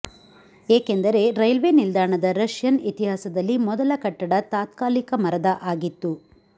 ಏಕೆಂದರೆ ರೈಲ್ವೇ ನಿಲ್ದಾಣದ ರಷ್ಯನ್ ಇತಿಹಾಸದಲ್ಲಿ ಮೊದಲ ಕಟ್ಟಡ ತಾತ್ಕಾಲಿಕ ಮರದ ಆಗಿತ್ತು